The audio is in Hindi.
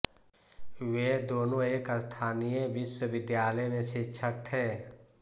वे दोनो एक स्थानीय विश्वविद्यालय में शिक्षक थे